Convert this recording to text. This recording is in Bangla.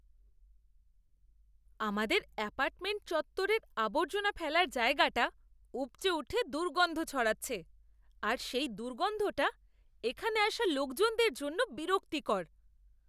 আমাদের অ্যাপার্টমেন্ট চত্বরের আবর্জনা ফেলার জায়গাটা উপচে উঠে দুর্গন্ধ ছড়াচ্ছে আর সেই দুর্গন্ধটা এখানে আসা লোকজনের জন্য বিরক্তিকর।